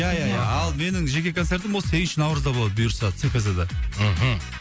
ия ия ия ал менің жеке концертім ол сегізінші наурызда болады бұйырса цкз да мхм